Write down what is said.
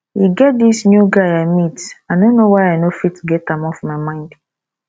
e get dis new guy i meet i no know why i no fit get am off my mind